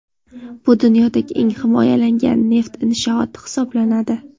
Bu dunyodagi eng himoyalangan neft inshooti hisoblanadi.